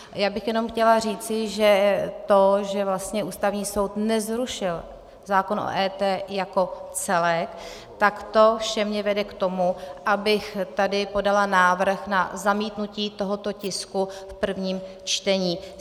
Já bych jenom chtěla říci, že to, že vlastně Ústavní soud nezrušil zákon o EET jako celek, tak to vše mě vede k tomu, abych tady podala návrh na zamítnutí tohoto tisku v prvním čtení.